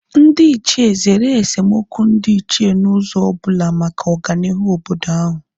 Ndị Ichie zere esemokwu ndị Ichie n'ụzọ ọbụla maka ọganihu obodo ahu